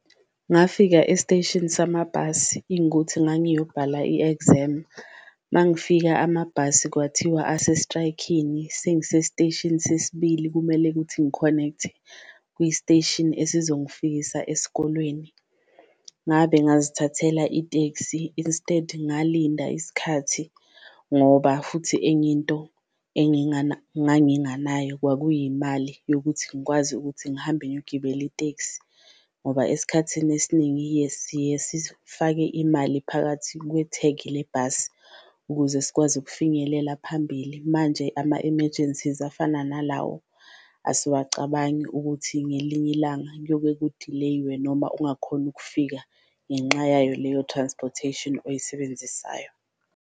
Ngafika esiteshini samabhasi ngangiyobhala i-exam, mangifika amabhasi kwathiwa ase-strike-ini sengisesiteshini sesibili kumele ukuthi ngi-connect-e ku-station esizongifisa esikolweni. Ngabe ngazithathela itekisi instead ngalinda isikhathi, ngoba futhi enye into nganginganayo kwakuyimali yokuthi ngikwazi ukuthi ngihambe ngiyogibela iteksi. Ngoba esikhathini esiningi siyesithi ukufake imali phakathi kwethegi le bhasi ukuze sikwazi ukufinyelela phambili. Manje ama-emergencies afana nalawo asiwacabangi ukuthi ngelinye ilanga kuyoke kudileyiwe, noma ungakhoni ukufika ngenxa yayo leyo transportation oyisebenzisayo.